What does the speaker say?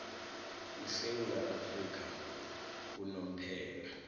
esewula afrika unomphela